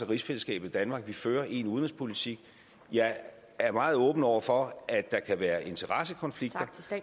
rigsfællesskab i danmark og vi fører én udenrigspolitik jeg er meget åben over for at der kan være interessekonflikter